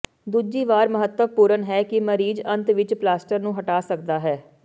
ਦੂਜੀ ਵਾਰ ਮਹੱਤਵਪੂਰਨ ਹੈ ਕਿ ਮਰੀਜ਼ ਅੰਤ ਵਿੱਚ ਪਲਾਸਟਰ ਨੂੰ ਹਟਾ ਸਕਦਾ ਹੈ